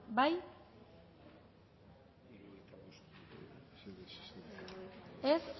bozkatu dezakegu